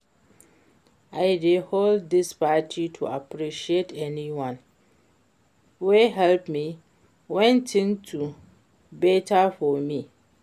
I dey hold dis party to appreciate everybody wey help me wen things no beta for me